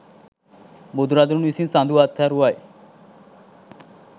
බුදුරදුන් විසින් සඳු අත්හරුවයි